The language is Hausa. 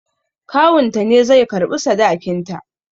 Kawunta ne zai karɓi sadakinta